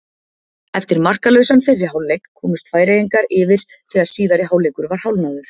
Eftir markalausan fyrri hálfleik komust Færeyingarnir yfir þegar síðari hálfleikur var hálfnaður.